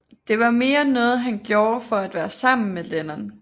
Det var mere noget han gjorde for at være sammen med Lennon